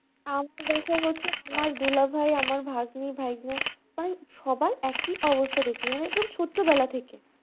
আমার দুলাভাই আমার ভাগ্নি ভাইজান সবার একই অবস্থা দেখছি মানে একদম ছোট্টবেলা থেকে